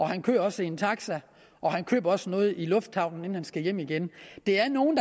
han kører også i en taxa og han køber også noget i lufthavnen inden han skal hjem igen det er nogle